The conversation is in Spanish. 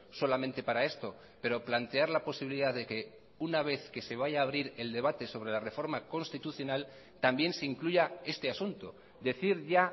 solamente para esto pero plantear la posibilidad de que una vez que se vaya a abrir el debate sobre la reforma constitucional también se incluya este asunto decir ya